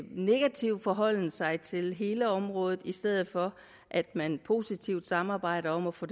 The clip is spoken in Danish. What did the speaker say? negativ forholden sig til hele området i stedet for at man positivt samarbejder om at få